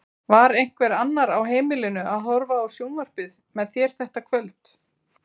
Var einhver annar á heimilinu að horfa á sjónvarpið með þér þetta kvöld?